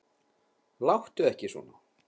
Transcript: Láttu ekki svona.